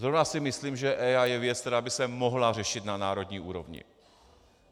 Zrovna si myslím, že EIA je věc, která by se mohla řešit na národní úrovni.